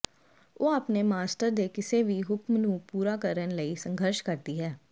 ਉਹ ਆਪਣੇ ਮਾਸਟਰ ਦੇ ਕਿਸੇ ਵੀ ਹੁਕਮ ਨੂੰ ਪੂਰਾ ਕਰਨ ਲਈ ਸੰਘਰਸ਼ ਕਰਦੀ ਹੈ